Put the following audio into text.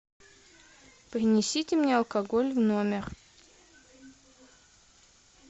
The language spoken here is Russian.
принесите мне алкоголь в номер